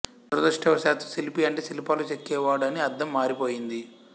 దురదృష్టవశాత్తూ శిల్పి అంటే శిల్పాలు చెక్కే వాడు అని అర్థం మారి పోయింది